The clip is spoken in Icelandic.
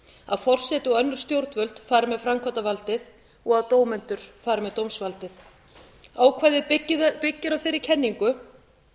að forseti og önnur stjórnvöld fari með framkvæmdarvaldið og að dómendur fari með dómsvaldið ákvæðið byggir á þeirri kenningu